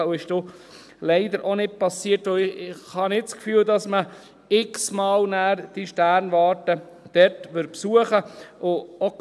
» Das ist dann leider auch nicht passiert, und ich habe nicht das Gefühl, dass man diese Sternwarte dort x-mal in Folge besuchen würde.